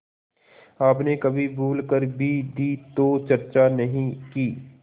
आपने कभी भूल कर भी दी तो चर्चा नहीं की